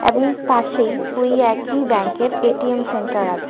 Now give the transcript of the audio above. এবং পাশেই ওই একই ব্যাঙ্ক -এর এ.টি.এম. সেন্টার আছে।